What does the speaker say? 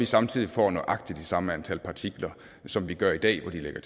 samtidig får nøjagtig det samme antal partikler som vi gør i dag hvor de lægger